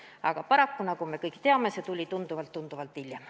Aga paraku, nagu me kõik teame, see tuli tunduvalt-tunduvalt hiljem.